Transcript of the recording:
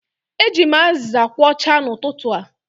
Eji m aziza kwochaa n'ụtụtụ a.